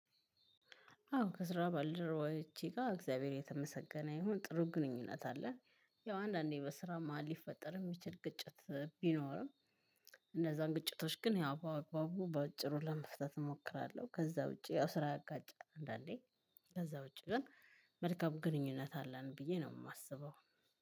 አዎ ከስራ ባልደረዎቸ ጋር እግዚአብሔር የተመሰገነ ይሁን ጥሩ ግንኙነት አለን። ያው አንዳንዴ በስራ መሃል ሊፈጠር የሚችል ግጭት ቢኖርም እንዛን ግጭቶች ግን ያው በአግባቡ በአጭሩ ለመፍታት እሞክራለሁ። ከዛ ውጪ ያው ስራ ያጋጫል አንዳንዴ ከዛ ውጭ ግን መልካም ግንኙነት አለን ብየ ነው የማስበው።